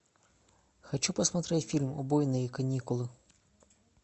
хочу посмотреть фильм убойные каникулы